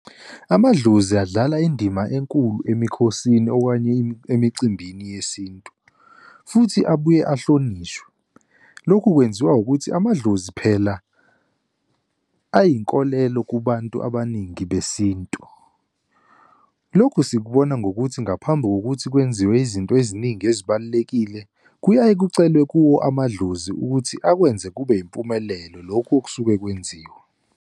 Amadlozi adlala indima enkulu emikhosini, okanye emicimbini yesintu, futhi abuye ahlonishwe. Lokhu kwenziwa ukuthi amadlozi phela ayinkolelo kubantu abaningi besintu. Lokhu sikubona ngokuthi ngaphambi kokuthi kwenziwe izinto eziningi ezibalulekile, kuyaye kucelwe kuwo amadlozi ukuthi akwenze kube yimpumelelo lokhu okusuke kwenziwa.